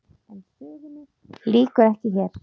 En sögunni lýkur ekki hér.